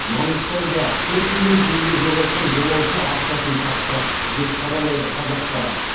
маңғыстауда төрт миллион теңге жоғалтқан жолаушы ақшасын тапты деп хабарлайды қазақпарат